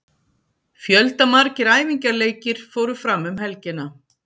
Fjöldamargir æfingaleikir fóru fram um helgina.